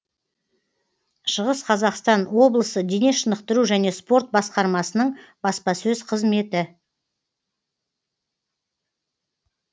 шығыс қазақстан облысы дене шынықтыру және спорт басқармасының баспасөз қызметі